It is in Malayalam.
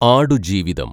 ആടുജീവിതം